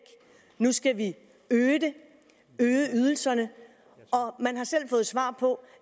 nu skal øge ydelserne og man har selv fået svar på